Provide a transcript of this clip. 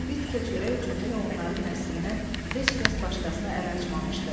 Bir tikə çörək üçün hələ onların nəslindən heç kəs başqasına əl açmamışdı.